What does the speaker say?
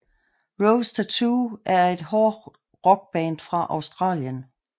Rose Tattoo er et hård rock band fra Australien